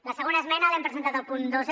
la segona esmena l’hem presentat al punt dos